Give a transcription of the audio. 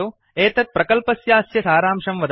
एतत् प्रकल्पस्यास्य सारांशं वदति